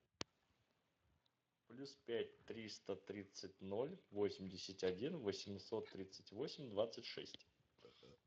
плюс пять триста тридцать ноль восемьдесят один восемьсот тридцать восемь двадцать шесть